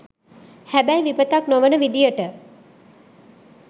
හැබැයි විපතක් නොවන විදියට